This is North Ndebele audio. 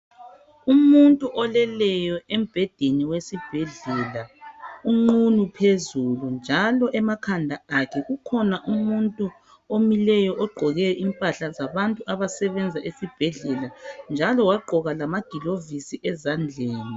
Umuntu oleleyo embhedeni wesibhedlela, unqunu phezulu njalo emakhanda akhe kukhona umuntu omileyo ogqoke impahla zabantu abasebenza esibhedlela njalo wagqoka lamagilovisi ezandleni.